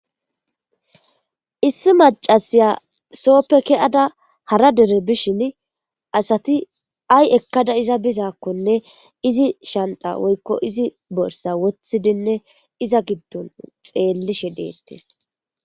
issi macasiya sooppe ke7ada hara dere bishin asati ay ekkada iza bizakkonne izi shanta woykko izi borsa wothidinne iza giddon xeellishe deettes